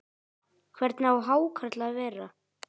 Hvernig á hákarl að vera?